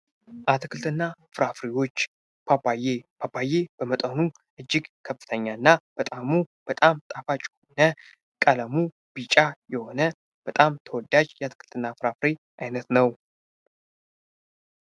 አትክልትና ፍራፍሬዎች ፓፓዬ። ፓፓዬ በመጠኑ እጅግ በጣም ትልቅና በጣም ጣፋጭ የሆነ እና ቀለሙ ቢጫ የሆነ የአትክልት አይነት ነው።